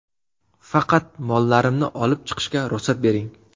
Faqat mollarimni olib chiqishga ruxsat bering.